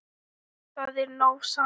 Það er nóg samt.